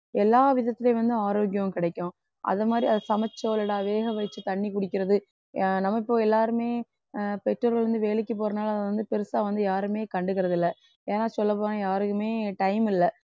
எல்லா விதத்துலயும் வந்து ஆரோக்கியம் கிடைக்கும் அது மாதிரி அதை சமைச்சோ இல்லாட்டா வேக வச்சு தண்ணி குடிக்கிறது அஹ் நம்ம இப்போ எல்லாருமே அஹ் பெற்றோர்கள் வந்து வேலைக்கு போறனால அதை வந்து பெருசா வந்து யாருமே கண்டுக்கிறதில்லை ஏன்னா சொல்லப்போனா யாருக்குமே time இல்லை